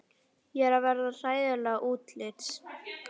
Ég er að verða hræðileg útlits.